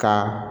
Ka